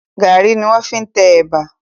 Gàrí ni wọ́n fi ń tẹ ẹ̀bà.